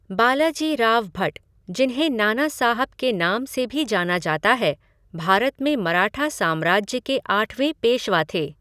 बालाजीराव भट, जिन्हें नाना साहब के नाम से भी जाना जाता है, भारत में मराठा साम्राज्य के आठवें पेशवा थे।